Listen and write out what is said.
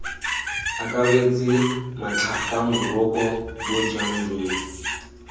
akaretse matlhaka moroko bojang jo